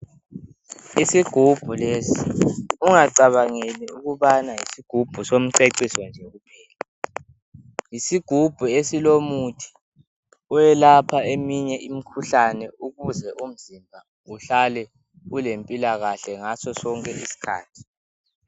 Isigubhu lesi ungacabangeli ukubana yisigubhu somceciso nje, yisigubhu esilomuthi oyelapha eminye imikhuhlane ukuze uhlale ulempilakahle ngaso sonke isikhathi.